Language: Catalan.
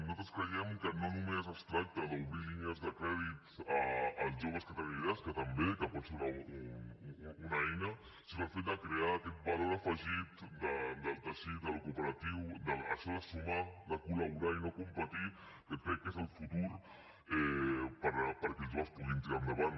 nosaltres creiem que no només es tracta d’obrir línies de crèdit als joves que tenen idees que també que pot ser una eina sinó el fet de crear aquest valor afegit del teixit del cooperatiu això de sumar de col·laborar i no competir que crec que és el futur perquè els joves puguin tirar endavant